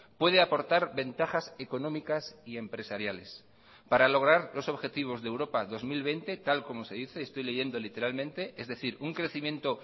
puede aportar ventajas económicas y empresariales para lograr los objetivos de europa dos mil veinte tal como se dice estoy leyendo literalmente es decir un crecimiento